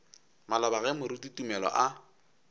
maloba ge moruti tumelo a